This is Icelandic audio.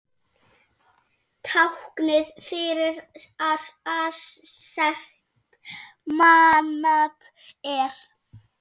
Táknið fyrir aserskt manat er.